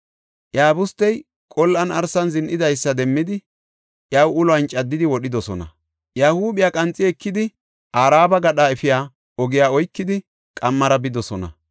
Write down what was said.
Iyabustey qol7an arsan zin7idaysa demmidi, iyaw uluwan caddidi wodhidosona; iya huuphiya qanxi ekidi, Araba gadha efiya ogiya oykidi, qammara bidosona.